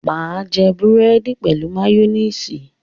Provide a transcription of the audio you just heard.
máa jé Búrẹ́di pẹlú mayonnaise.